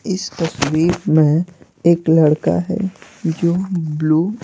इस तस्वीर में एक लड़का है जो ब्लू --